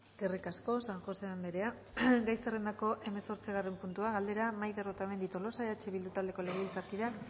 eskerrik asko san josé anderea gai zerrendako hemezortzigarren puntua galdera maider otamendi tolosa eh bildu taldeko legebiltzarkideak